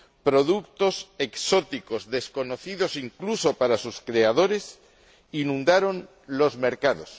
Productos exóticos, desconocidos incluso para sus creadores, inundaron los mercados.